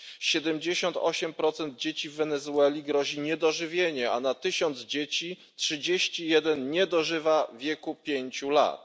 78 dzieci w Wenezueli grozi niedożywienie, a na tysiąc dzieci 31 nie dożywa wieku pięciu lat.